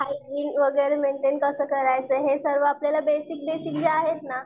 Hygiene वगैरे maintain कसं करायचं हे सर्व आपल्याला बेसिक बेसिक जे आहेत ना.